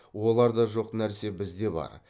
оларда жоқ нәрсе бізде бар